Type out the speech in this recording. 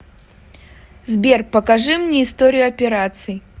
сбер покажи мне историю операций